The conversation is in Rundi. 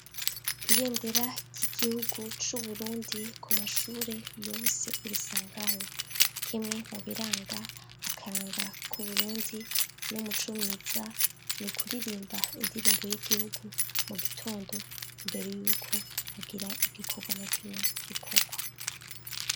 Ibendera ry'igihugu c'uburundi ku mashure yose urisangaho kimwe mubiranga akaranga kw'uburundi no muco mwiza ni kuririmba indirimbo y'igihugu mu gitondo imbere yuko agira igikorwa na kimwe gikorwa.